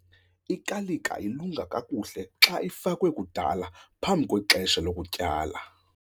Ikalika ilunga kakuhle xa ifakwe kudala phambi kwexesha lokutyala.